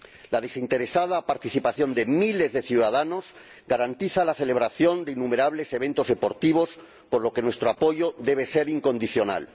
la desinteresada participación de miles de ciudadanos garantiza la celebración de innumerables eventos deportivos, por lo que nuestro apoyo debe ser incondicional.